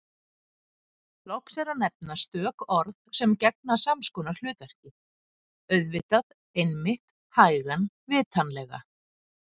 Loks er að nefna stök orð sem gegna sams konar hlutverki: auðvitað einmitt hægan vitanlega